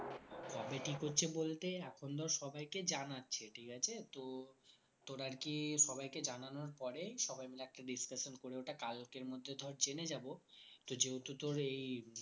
কবে ঠিক হচ্ছে বলতে এখন ধর সবাই কে জানাচ্ছে ঠিক আছে তো তোর আরকি সবাই কে জানানোর পরে সবাই মিলে একটা discussion করে ওটা কালকের মধ্যে ধর জেনে যাবো তো যেহেতু তোর এই